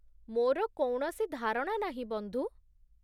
ମୋର କୌଣସି ଧାରଣା ନାହିଁ, ବନ୍ଧୁ।